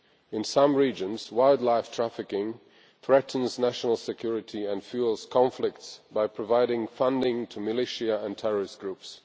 In some regions wildlife trafficking threatens national security and fuels conflicts by providing funding to militia and terrorist groups.